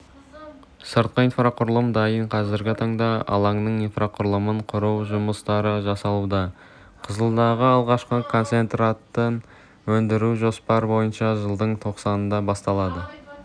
сыртқы инфрақұрылым дайын қазіргі таңда алаңның инфрақұрылымын құру жұмыстары жасалуда қызылдағы алғашқы концентратын өндіру жоспар бойынша жылдың тоқсанында басталады